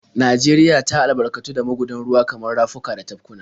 Najeriya ta albarkatu da magudan ruwa kamar rafuka da tafkuna.